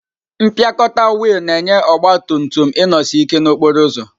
Mpịakọta wiil na-enye ọgba tum tum inosi ike n'okporo ụzọ.